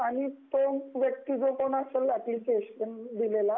आणि तो व्यक्ती जो कुणी असेल अप्लिकेशन दिलेला